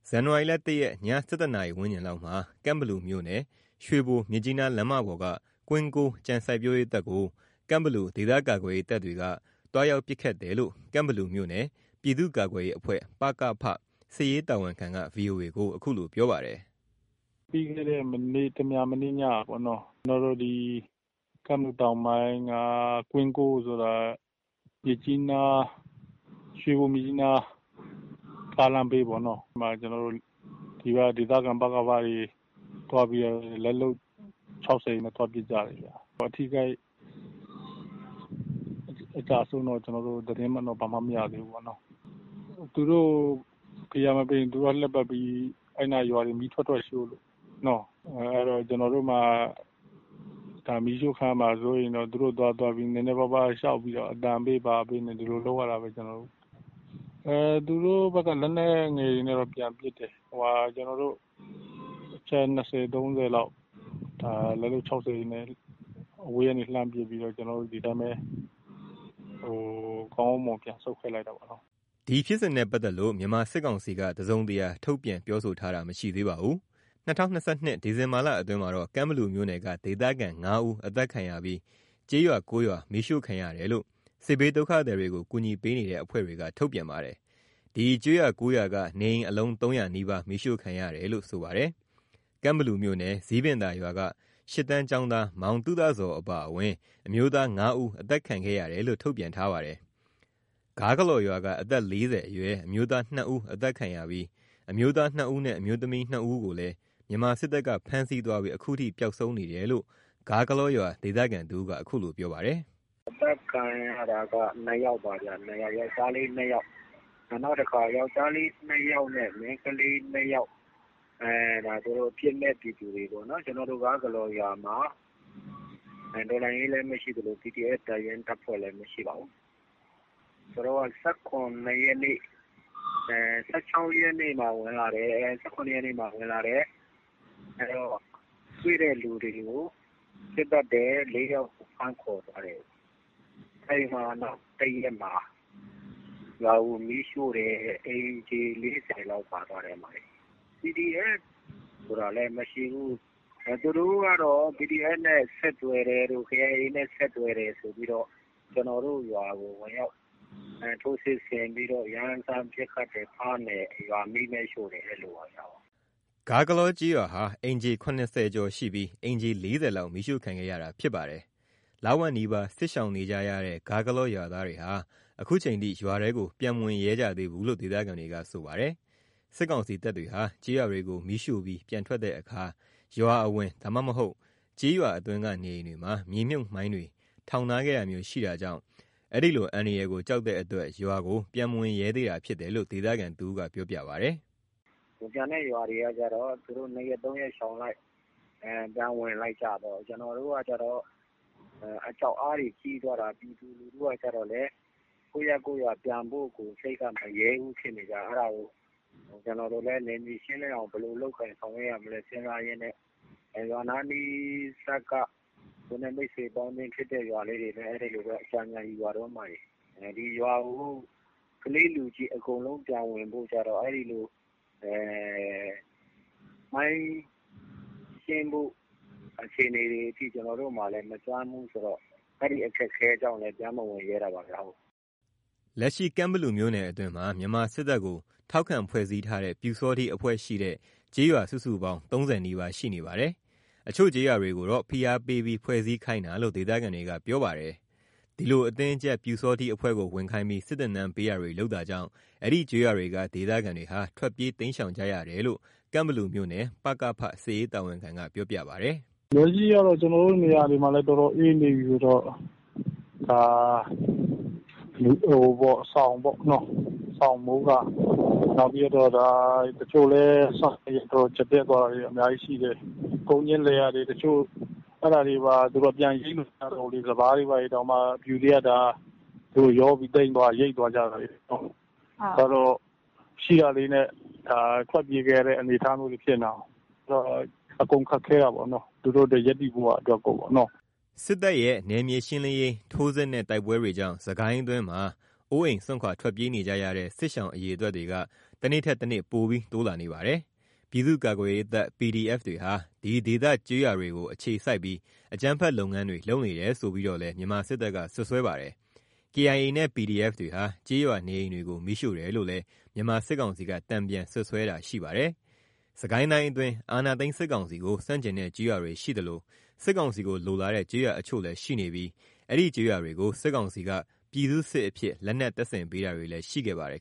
ဇန်နဝါရီ ၁ ရက် ည ၁၁ နာရီ ဝန်းကျင်လောက်မှာ ကန့်ဘလူမြို့နယ် ရွှေဘို-မြစ်ကြီးနားလမ်းမပေါ်က ကွင်းကိုး ကြံစိုက်ပျိုးရေးတပ်ကို ကန့်ဘလူ ဒေသကာကွယ်ရေး တပ်တွေက သွားရောက် ပစ်ခတ်တယ်လို့ ကန့်ဘလူမြို့နယ် ပြည်သူ့ကာကွယ်ရေးအဖွဲ့ စစ်ရေး တာဝန်ခံက VOA ကို ခုလိုပြောပါတယ်။ "ပြီးခဲ့တဲ့ မနေ့ တမြန်မနေ့ညက ပေါ့နှော၊ ကျွန်တော်တို့ ကန့်ဘလူတောင်ပိုင်းက ကွင်းကိုးဆိုတာ ရွေဘို-မြစ်ကြီးနား ကားလမ်းဘေးပေါ့နော် ကွင်းကိုးဆိုတာ စစ်တပ်က သိမ်းထားတဲ့ မြေတွေရှိတယ်။ အဲ့ဒီမှာ ဒီက ဒေသခံ ပကဖတွေ သွားပြီးတော့ လက်လုပ် ၆၀ တွေနဲ့ သွားပစ်ကြတယ်ဗျ။ အထိအခိုက်အကျအဆုံး ဘာမှတော့ သတင်း မရသေးဘူးပေါ့နေ့ာ။ သူတို့ကို ဖိအားမပေးရင် သူတို့က အဲ့နား လှည့်ပတ်ပြီး၊ ရွာတွေကို ထွက်ထွက်ပြီး မီးရှို့လို့ အဲ့တော့ ကျွန်တော်တို့မှာက မီးရှို့ခံရမှာ စိုးရိမ်တော့ သူတို့ကို အသံပေး ဘာပေးနဲ့ ဒီလိုပဲ လုပ်ရတာပဲ ကျွန်တော်တို့ သူတို့ဖက်က လက်နက်ငယ်တွေနဲ့တော့ ပြန်ပစ်တယ်။ ဒါပေမယ့် သူတို့အချက် ၂၀ ၃၀ လောက် လက်လုပ် ၆၀ တွေနဲ့ အဝေးကနေ လှမ်းပစ်ပြီးတော့ ကျွန်တော်တို့ ဒီတိုင်းပဲ ကော်းကောင်းမွန်မွန် ပြန်ဆုတ်ခဲ့လိုက်တာပေါ့နော်။" ဒီဖြစ်စဉ်နဲ့ပတ်သက်လို့ မြန်မာစစ်ကောင်စီက တစုံတရာ ထုတ်ပြန်ပြောဆိုတာ မရှိသေးပါဘူး။ ၂၀၂၂ ဒီဇင်ဘာလ အတွင်းမှာတော့ ကန့်ဘလူမြို့နယ်က ဒေသခံ ၅ ဦး သတ်ခံရပြီး ကျေးရွာ ၉ ရွာ မီးရှို့ခံရတယ်လို့ စစ်ဘေးဒုက္ခသည်တွေကို ကူညီပေးနေတဲ့ အဖွဲ့တွေက ထုတ်ပြန်ပါတယ်။ ဒီကျေးရွာ ၉ ရွာက နေအိမ်အလုံး ၃၀၀ နီးပါး မီးရှို့ခံတယ်လို့ ဆိုပါတယ်။ ကန့်ဘလူမြို့နယ် ဇီးပင်သာရွာက ၈ တန်းကျော်းသား မောင်သုတဇော်အပါအဝင် အမျိုးသား ၅ ဦး အသတ်ခံခဲ့ရတယ်လို့ ထုတ်ပြန်ထားပါတယ်။ ဂါးဂလော်ရွာက အသက် ၄၀ အရွယ် အမျိုးသား ၂ ဦး သတ်ခံရပြီး အမျိုးသား ၂ ဦးနဲ့ အမျိုးသမီး ၂ ဦးကိုလဲ မြန်မာစစ်တပ်က ဖမ်းဆီးသွားပြီး ခုထိ ပျောက်ဆုံးနေတယ်လို့ ဂါးဂလော်ရွာခံ တစ်ဦးက ခုလိုပြောပါတယ်။ "အသတ်ခံရတာက ယောကျ်ားလေး ၂ ယောက်ပါဗျ။ နောက်တခါ ယောက်ျားလေး ၂ ယောက်နဲ့ မိန်းကလေး ၂ ယောက် အပြစ်မဲ့ ပြည်သူတွေပေါ့်နော် ကျွန်တော်တို့ ဂါးဂလော်ရွာမှာ တော်လှန်ရေးလဲ မရှိသလို PDF တပ်ရင်းတပ်ဖွဲ့လည်း မရှိပါဘူး။ ၁၆ ရက်နေ့ ၁၇ ရက်နေ့မှာ ဝင်လာတယ်၊ တွေ့တဲ့သူတွေကို ပစ်သတ်တယ် ၄ ယောက် ဖမ်းခေါ်သွားတယ်။ အဲ့ဒီမှာ နောက်တစ်ရက်မှာ ရွာတွေကို မီးရှို့တယ်။ အိမ်ခြေ ၄၀ လောက်ပါသွားတယ်။ PDF ဆိုတာလည်း မရှိဘူး၊ သူတို့က PDF နဲ့ ဆက်သွယ်တယ်တို့ KIA နဲ့ ဆက်သွယ်တယ် ဆိုပြီးတော့ ကျွန်တော်တို့ရွာကို ဝင်ရောက် ထိုးစစ်ဆင်ပြီးတော့ ရမ်းသမ်း ပစ်ခတ်တယ်၊ ဖမ်းတယ် ရွာကို မီးနဲ့ ရှို့တယ်။ အဲ့လိုပါဗျ" ဂါးဂလော်ကျေးရွာဟာ အိမ်ခြေ ၇၀ ကျော်ရှိပြီး အိမ်ခြေ ၄၀ လောက် မီးရှို့ခံခဲ့ရတာဖြစ်ပါတယ်။ လဝက်နီးပါး စစ်ရှောင်နေကြရတဲ့ ဂါးဂလော်ရွာသားတွေဟာ ခုထိ ရွာထဲကို ပြန်မဝင်ရဲကြသေးဘူးလို့ ဒေသခံက ဆိုပါတယ်။ စစ်ကောင်စီတပ်တွေဟာ ကျေးရွာတွေကို မီးရှို့ပြီး ပြန်ထွက်တဲ့အခါ ရွာအဝင် ဒါမှမဟုတ် ကျေးရွာအတွင်းက နေအိမ်တွေမှာ မြေမြှုပ်မိုင်းတွေ ထောင်ထားခဲ့တာမျိုး ရှိတာကြောင့် အဲဒီလို အန္တရာယ်ကို ကြောက်တဲ့အတွက် ရွာကို ပြန်မဝင်ရဲသေးတာ ဖြစ်တယ်လို့ ဒေသခံတဦးက ပြောပြပါတယ်။ "တခြားရွာတွေကတော့ ၂ ရက် ၃ ရက် ရှောင်လိုက် ပြန်ဝင်လိုက်ကြပေါ့၊ ကျွန်တော်တို့ကတော့ အကြောက်အားတွေ ကြီးသွားတာ။ ကျွန်တော်တို့က ကျတော့လည်း ကိုယ့်ရပ်ကိုယ်ရွာ ပြန်ဖို့ကို စိတ်က မရဲဘူးဖြစ်နေတာ။ ကျွန်တော်တို့လည်း နယ်မြေရှင်းလင်းအောင် ဘယ်လိုလုပ်ကိုင် ဆောင်ရွက်ရမလဲ စဉ်းစားရင်းနဲ့ ကိုယ်နဲ့ရင်းနှီးတဲ့ ရွာနားနီးစပ် ကလေးတွေဆီက အကူအညီ ယူရတုန်း။ ဒီရွာကို ကလေးလူကြီး အကုန်လုံး ပြန်ဝင်ဖို့ကျတော့ အဲ့လို မိုင်းရှင်းဖို့ အခြေအနေတွေထိလည်း ကျွန်တော်တို့က မစွမ်းဘူးဆိုတော့ အဲ့ဒီ အခက်အခဲကြောင့်လဲ ပြန်မဝင်ရဲတာပါဗျ။" လက်ရှိ ကန့်ဘလူမြို့နယ်အတွင်းမှာ မြန်မာစစ်တပ်ကို ထောက်ခံဖွဲ့စည်းထားတဲ့ ပျူစောထီးအဖွဲ့ရှိတဲ့ ကျေးရွာ စုစုပေါင်း ၃၀ နီးပါး ရှိနေပါတယ်။ အချို့ကျေးရွာတွေကိုတော့ ဖိအားပေးပြီး ဖွဲ့စည်းခိုင်းတာလို့ ဒေသခံတွေကပြောပါတယ်။ ဒီလို အတင်းအကြပ် ပျူစောထီးအဖွဲ့ကို ဝင်ခိုင်းပြီး စစ်သင်တန်း ပေးတာတွေ လုပ်တာကြောင့် အဲဒီကျေးရွာတွေက ဒေသခံတွေဟာ ထွက်ပြေးရှောင်တိမ်းကြရတယ်လို့ ကန့်ဘလူမြို့နယ် ပကဖ စစ်ရေး တာဝန်ခံက ပြောပြပါတယ်။ "လက်ရှိကတော့ ကျွန်တော်တို့ နေရာတွေမှာ အတော်လေး အေးနေပြီဆိုတော့ အဓိကကတော့ စောင်ပေါ့၊ စောင်၊ မိုးကာ၊ နောက်ပြီးတော့ခါ တချို့ကျတော့လည်း စားဝတ်နေရေး အတော်ကျပ်တည်းသွားတာတွေရှိတယ်။ လယ်ယာတွေ တချို့ အဲ့ဒါတွေ တောင်မှ ပြန်ရိတ်လို့ မရတော့ဘူးလေ။ စပါးတွေတောင်မှ ပျူတွေက ရိတ်သွားကြတာလေနော်။ အဲ့တော့ ရှိတာလေးနဲ့ ထွက်ပြေးခဲ့ရတဲ့ အနေအထားတွေ ဖြစ်နေတာကိုး။ အဲ့တော့ အကုန်ခက်ခဲတာပေါ့နော်၊ သူတို့အတွက် ရပ်တည်ဖို့ရာ အတွက်ကို။" စစ်တပ်ရဲ့ နယ်မြေရှင်းလင်းရေး ထိုးစစ်နဲ့ တိုက်ပွဲတွေကြောင့် စစ်ကိုင်းအတွင်းမှာ အိုးအိမ် စွန့်ခွာ ထွက်ပြေးနေကြရတဲ့ စစ်ရှောင် အရေ အတွက်တွေက တနေ့ထက်တနေ့ ပိုပြီးတိုးလာနေပါတယ်။ ပြည်သူ့ ကာကွယ်ရေးတပ် PDF တွေဟာ ဒီဒေသ ကျေးရွာတွေကို အခြေစိုက်ပြီး အကြမ်းဖက်လုပ်ငန်းတွေ လုပ်နေတယ်ဆိုပြီးတော့လည်း မြန်မာစစ်တပ်က စွပ်စွဲပါတယ်။ KIA နဲ့ PDF တွေဟာ ကျေးရွာနေအိမ်တွေကို မီးရှို့တယ်လို့လည်း မြန်မာစစ်ကောင်စီက တန်ပြန်စွပ်စွဲတာရှိပါတယ်။ စစ်ကိုင်းတိုင်းအတွင်း အာဏာသိမ်းစစ်ကောင်စီကို ဆန့်ကျင်တဲ့ ကျေးရွာတွေရှိသလို၊ စစ်ကောင်စီကို လိုလားတဲ့ ကျေးရွာတချို့လည်းရှိနေပြီး အဲဒီကျေးရွာတွေကို စစ်ကောင်စီက ပြည်သူ့စစ်အဖြစ် လက်နက် တပ်ဆင်ပေးတာတွေလည်း ရှိနေပါတယ်